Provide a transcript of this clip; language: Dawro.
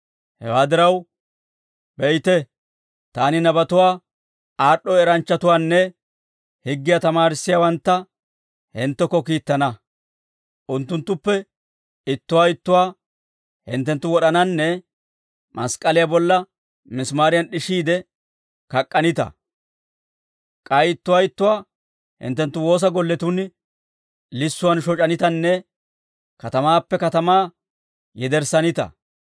Hewaa diraw, beyte, taani nabatuwaa aad'd'o eranchchatuwaanne higgiyaa tamaarissiyaawantta hinttekko kiittana. Unttunttuppe ittuwaa ittuwaa hinttenttu wod'ananne mask'k'aliyaa bolla misimaariyan d'ishiide kak'k'anita; k'ay ittuwaa ittuwaa hinttenttu woosa golletun lissuwaan shoc'anitanne katamaappe katamaa yederssanita.